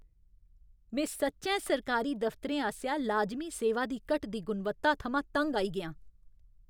में सच्चैं सरकारी दफ्तरें आसेआ लाजमी सेवां दी घटदी गुणवत्ता थमां तंग आई गेआं।